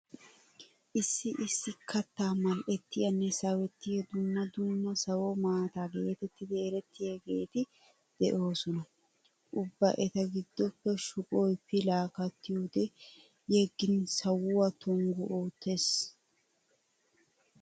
Issi issi kattaa mal"ettiyanne sawettiya dumma dumma sawo maata geetetti erettiyageeti de'oosona. Ubba eta giddoppe shuqoy pilaa kattiyode yeggin sawuwa tonggu oottees.